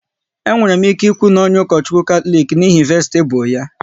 E nwere m ike ikwu n'onye Ukochukwu Katọlik n'ihi vestibu ya